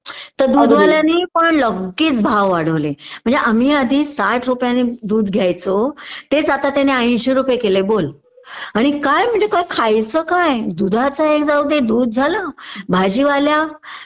तर दुधवाल्यानी पण लगेच भाव वाढवले म्हणजे आम्ही आधी साठ रुपयाने दूध घ्यायचो तेच आता त्याने ऐंशी रुपये केलय बोल आणि काय म्हणजे काय खायचं काय? दुधाचं एक जाऊदे दूध झालं. भाजीवाला